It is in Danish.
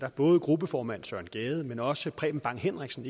både gruppeformand søren gade men også preben bang henriksen